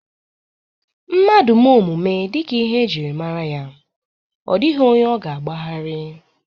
Mmadu mee omume dika ihe e jiri mara ya o dighi onye o na-agba gharii.